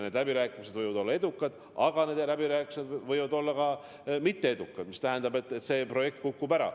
Need läbirääkimised võivad olla edukad, aga need läbirääkimised võivad olla ka mitteedukad, mis tähendab, et mõni projekt kukub ära.